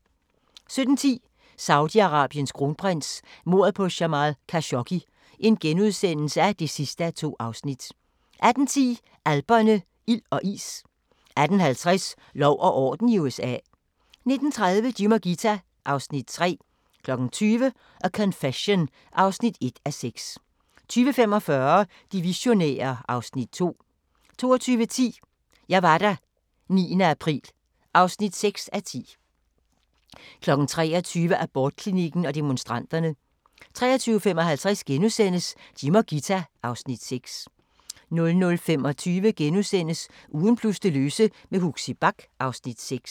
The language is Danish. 17:10: Saudi-Arabiens kronprins: Mordet på Jamal Khashoggi (2:2)* 18:10: Alperne – ild og is 18:50: Lov og orden i USA 19:30: Jim og Ghita (Afs. 3) 20:00: A Confession (1:6) 20:45: De visionære (Afs. 2) 22:10: Jeg var der – 9. april (6:10) 23:00: Abortklinikken og demonstranterne 23:55: Jim og Ghita (Afs. 6)* 00:25: Ugen plus det løse med Huxi Bach (Afs. 6)*